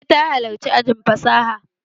Eh, ta halarci ajin fasaha